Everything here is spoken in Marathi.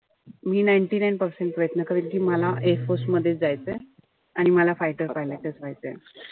मी ninety nine percent प्रयत्न करेल कि मला airforce मधेच जायचंय. आणि मला fighter pilot च व्हायचंय.